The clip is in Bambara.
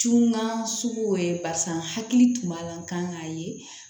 Cun n ka suguw ye barisa n hakili tun b'a la n kan k'a ye